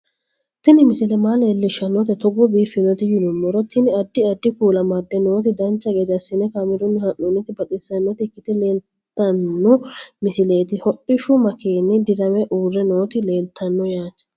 Tini misile maa leellishshannote togo biiffinoti yinummoro tini. addi addi kuula amadde nooti dancha gede assine kaamerunni haa'noonniti baxissannota ikkite leeltanno misileeti hodhishu makeeni dirame uurre nooti leeltanno yaate